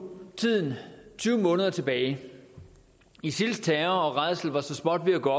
tiden tyve måneder tilbage isils terror og rædsler var så småt ved at gå